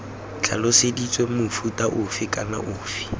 tlhaloseditswe mofuta ofe kana ofe